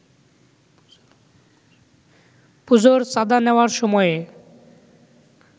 পুজোর চাঁদা নেওয়ার সময়ে